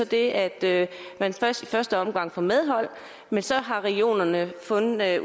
det at man i første første omgang får medhold men så har regionerne fundet ud af